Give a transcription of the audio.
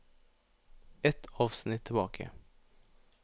Ett avsnitt tilbake